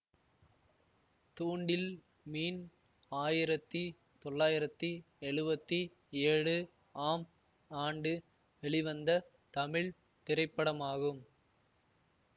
தூண்டில் மீன் ஆயிரத்தி தொள்ளாயிரத்தி எழுவத்தி ஏழு ஆம் ஆண்டு வெளிவந்த தமிழ் திரைப்படமாகும்